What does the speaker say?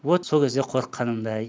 вот сол кезде қорыққанымды ай